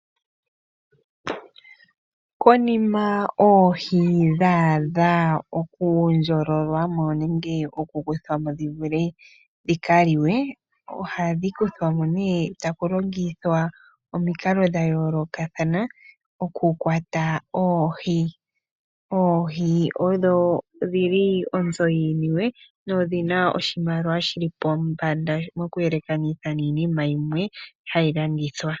Konima oohi dha adha okundjololwa mo nenge okukuthwa mo dhika liwe, ohadhi kuthwa mo nee taku longithwa omikalo dha yolokathana okukwata oohi. Oohi odho dhimwe dhi li onzo yiiniwe nodhi na oshimaliwa shi li pombanda okuyelekanitha niinima yimwe hayi landithwa.